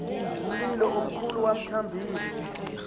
umlilo omkhulu bamthambisa